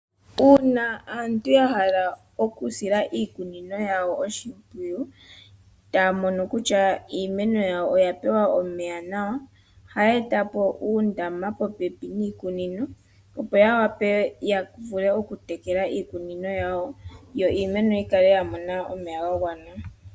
Uuna aantu yahala okusila oshimpwiyu iikunino yawo , etaya mono kutya iimeno yawo oyapewa omeya nawa, ohaya etapo uundama popepi niikunino opo yawape yavule okutekela iikunino yawo. Yo iimeno yikale yamona omeya gagwana.